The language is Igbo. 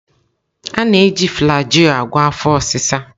Ana-e ji flajil a gwo afọ osi sa.